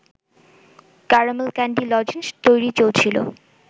caramel candy lozenges তৈরি চলছিল